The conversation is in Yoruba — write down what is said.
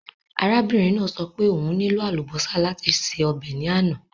Arábìnrin náà sọ pé òun nílò àlùbọ́sà láti se ọbẹ̀ náà.